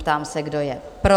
Ptám se, kdo je pro?